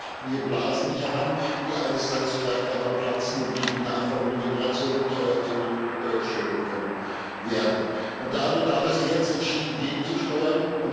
Also wir züchten hier Blasen heran, die eines Tages vielleicht einmal platzen und die die nachfolgende Generation teuer zu stehen kommen werden. Da bedarf es, jetzt entschieden gegenzusteuern.